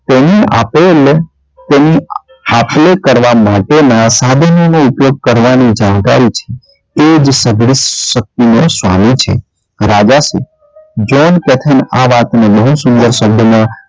તેની આપ લે તેની આપ લે કરવા માટે ના સાબિતી ના ઉપયોગ કરવા ની જાણકારી છે એ જ સગળી શક્તિ નો સ્સ્વામી છે રજા શ્રી આ વાત બહુ સુંદર શબ્દો માં